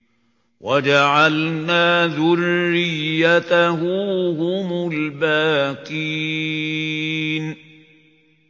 وَجَعَلْنَا ذُرِّيَّتَهُ هُمُ الْبَاقِينَ